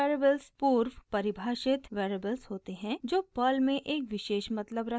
special variables पूर्वपरिभाषित variables होते हैं जो पर्ल में एक विशेष मतलब रखते हैं